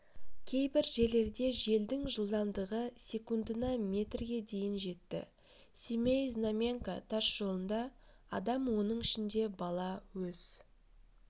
кейбір жерлерде желдің жылдамдығы секундына метрге дейін жетті семей-знаменка тас жолында адам оның ішінде бала өз